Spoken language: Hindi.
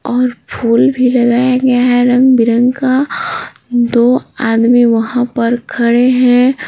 और फूल भी लगाया गया हैरंग बिरंग का दो आदमी वहाँ पर खड़े हैं।